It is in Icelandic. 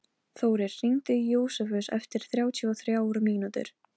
Þórir, hringdu í Jósefus eftir þrjátíu og þrjár mínútur.